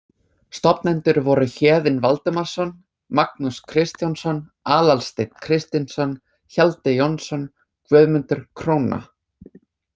Stofnendur voru Héðinn Valdimarsson, Magnús Kristjánsson, Aðalsteinn Kristinsson, Hjalti Jónsson, Guðmundur króna